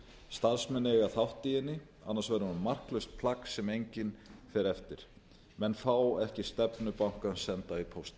starfsmenn eiga þátt í henni annars verður hún marklaust plagg sem enginn fer eftir menn fá ekki stefnu bankans senda í pósti